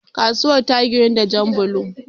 kasuwar ta ginu da Jan bulo